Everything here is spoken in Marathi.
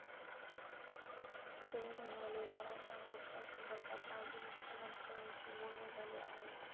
ते म्हणाले, मराठा मोर्चासंदर्भात माझे मुख्यमंत्र्यांशी बोलणे झाले आहे.